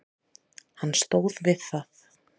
Hann stóð við það.